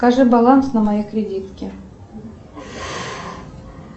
покажи баланс на моей кредитке